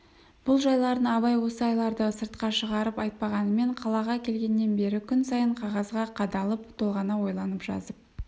бұл жайларын абай осы айларда сыртқа шығарып айтпағанмен қалаға келгеннен бері күн сайын қағазға қадалып толғана ойланып жазып